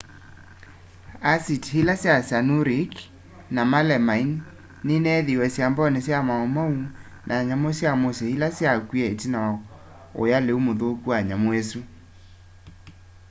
asiti ili sya cyanuric na melamaini nineethiiwe sambooni sya maumau ma nyamu sya musyi ila syakwie itina wa uya liu muthuku wa nyamu isu